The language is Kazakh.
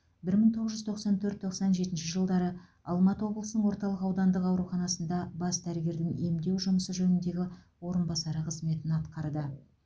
бір мың тоғыз жүз тоқсан төрт тоқсан жетінші жылдары алматы облысының орталық аудандық ауруханасында бас дәрігердің емдеу жұмысы жөніндегі орынбасары қызметін атқарды